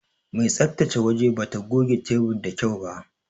Mai tsabtace waje bata goge tebur da kyau ba.